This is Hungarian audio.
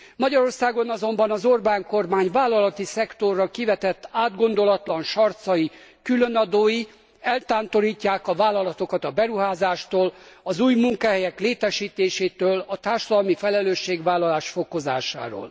Magyarországon azonban az Orbán kormány vállalati szektorra kivetett átgondolatlan sarcai, különadói eltántorítják a vállalatokat a beruházástól, az új munkahelyek létesítésétől, a társadalmi felelősségvállalás fokozásáról.